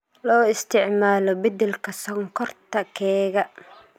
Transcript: Loo isticmaalo beddelka sonkorta keega.